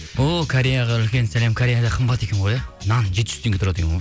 о кореяға үлкен сәлем кореяда қымбат екен ғой иә нан жеті жүз теңге тұрады екен ғой